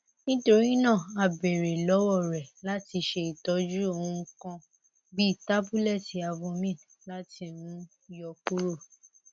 nitorina a beere lọwọ rẹ lati ṣe itọju ohun kan bii tabulẹti avomine lati um yọ kuro